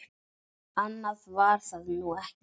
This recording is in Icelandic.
Annað var það nú ekki.